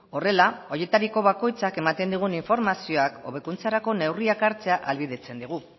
horrela horietariko bakoitzak ematen digun informazioak hobekuntzarako neurriak hartzea ahalbidetzen digu